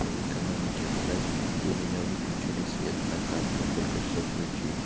по экономике задач и у меня выключили свет накаркал только что включили